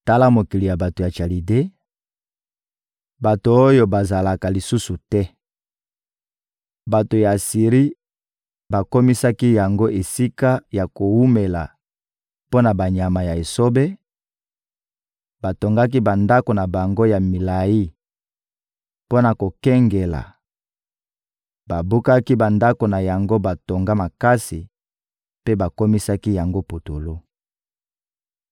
Tala mokili ya bato ya Chalide, bato oyo bazalaka lisusu te! Bato ya Asiri bakomisaki yango esika ya kowumela mpo na banyama ya esobe; batongaki bandako na bango ya milayi mpo na kokengela, babukaki bandako na yango batonga makasi mpe bakomisaki yango putulu.